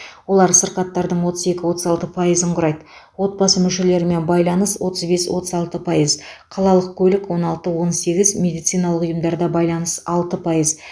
олар сырқаттардың отыз екі отыз алты пайызын құрайды отбасы мүшелерімен байланыс отыз бес отыз алты пайыз қалалық көлік он алты он сегіз медициналық ұйымдарда байланыс алты пайыз